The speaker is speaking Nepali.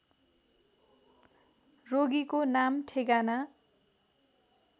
रोगीको नाम ठेगाना